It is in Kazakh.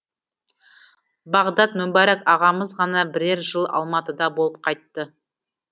бағдат мүбәрак ағамыз ғана бірер жыл алматыда болып қайтты